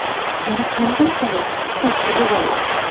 Yana qanday zavod qo‘shma zavod.